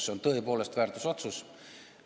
See on tõepoolest väärtusotsus.